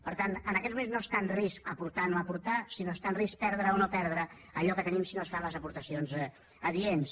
per tant en aquests moments no està en risc aportar o no aportar sinó que està en risc perdre o no perdre allò que tenim si no es fan les aportacions adients